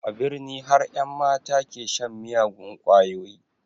A birni har ƴan mata ke shan miyagun ƙwayoyi